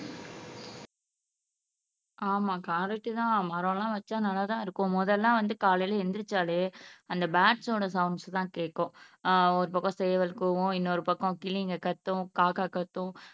ஆமா கரைக்டு தான் மரம் எல்லாம் வச்சா நல்லாதான் இருக்கும் மொதல்ல வந்து காலையில எந்திரிச்சாலே அந்த பேர்ட்ஸோட சவுண்ட்ஸ் தான் கேக்கும் ஆஹ் ஒரு பக்கம் சேவல் கூவும் இன்னொரு பக்கம் கிளிங்க கத்தும் காக்கா கத்தும்